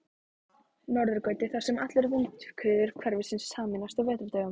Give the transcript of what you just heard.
Norðurgötu, þar sem allar vindhviður hverfisins sameinast á vetrardögum.